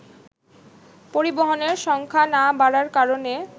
পরিবহনের সংখ্যা না বাড়ার কারণে